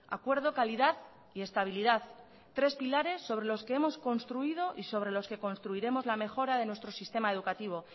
acuerdo calidad y estabilidad tres pilares sobre los que hemos construido y sobre los que construiremos la mejora de nuestro sistema educativo